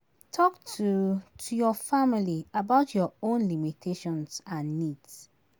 Talk to to your family about your own limitations and needs